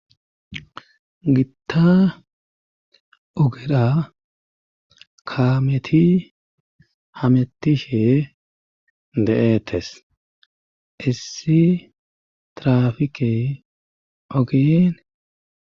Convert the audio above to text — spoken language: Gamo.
Gitta ugedha kaameti hametishe de7eettes issi traafike ogeen